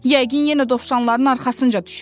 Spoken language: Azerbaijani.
Yəqin yenə dovşanların arxasınca düşüb.